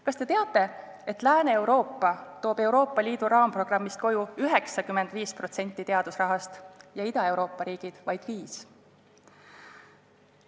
Kas te teate, et Lääne-Euroopa toob Euroopa Liidu raamprogrammist koju 95% teadusrahast ja Ida-Euroopa riigid vaid 5%?